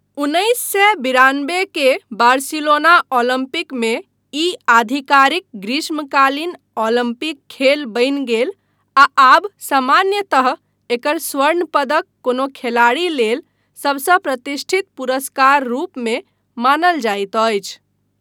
उन्नैस सए बिरानबे के बार्सिलोना ओलम्पिकमे ई आधिकारिक ग्रीष्मकालीन ओलम्पिक खेल बनि गेल आ आब सामान्यतः एकर स्वर्ण पदक कोनो खिलाड़ी लेल सबसँ प्रतिष्ठित पुरस्कार रूपमे मानल जाइत अछि।